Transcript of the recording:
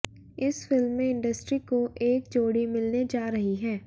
इस फिल्म में इंडस्ट्री को एक जोड़ी मिलने जा रही है